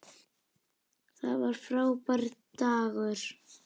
Það var frábær dagur.